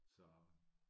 Så